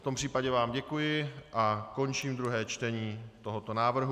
V tom případě vám děkuji a končím druhé čtení tohoto návrhu.